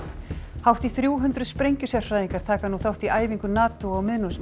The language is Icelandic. hátt í þrjú hundruð sprengjusérfræðingar taka nú þátt í æfingu NATO á